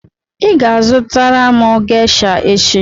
ị ga-azụtara m gesha echi!